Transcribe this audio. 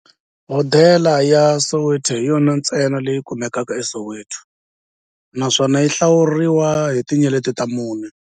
Hodela ya Soweto hi yona ntsena leyi kumekaka eSoweto, naswona yi hlawuriwa hi tinyeleti ta mune.